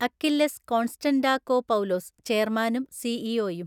Achilles Konstantakopoulos, ചെയർമാനും സിഇഒയും